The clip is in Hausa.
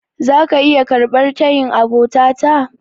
Zaka iya karɓar tayin abota ta?